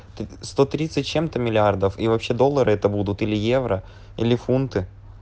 сто тридцать с чем-то миллиардов и вообще доллары это будут или евро или фунты